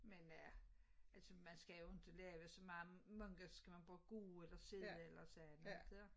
Men øh altså man skal jo ikke lave så meget mange gange skal man bare gå eller sidde eller sige lidt